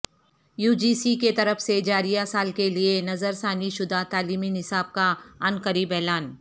یوجی سی کی طرف سے جاریہ سال کیلئے نظرثانی شدہ تعلیمی نصاب کا عنقریب اعلان